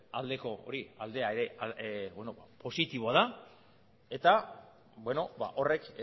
aldeko hori aldea ere positiboa da eta horrek